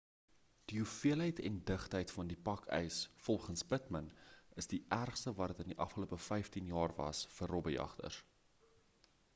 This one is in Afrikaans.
die hoeveelheid en digtheid van die pak ys volgens pittman is die ergste wat dit in die afgelope 15 jaar was vir robbejagters